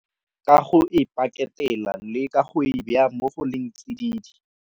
Ka go e paketela le ka go e be a mo go leng tsididi.